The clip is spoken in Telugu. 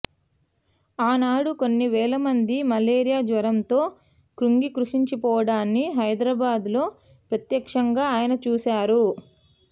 ఆనాడు కొన్ని వేలమంది మలేరియా జ్వరంతో కుంగికృశించిపోవడాన్ని హైదరాబాద్లో ప్రత్యక్షంగా ఆయన చూశా రు